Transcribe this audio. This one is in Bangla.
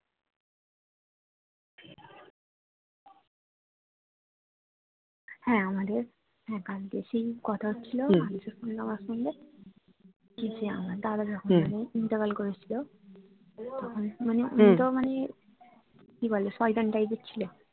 হ্যা আমাদের হ্যা কালকে সেই কথা হচ্ছিলো না যখন নামাজ পড়লে যে আমার দাদা যখন মানে ইন্তেকাল করেছিল তখন মানে ও তো মানে কি বলে শয়তান type এর ছিল